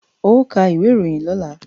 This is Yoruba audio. Ó ka ìwé ìròyìn lọ́la!